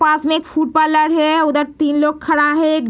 पास में एक food parlour है उधर तीन लोग खड़ा है ए --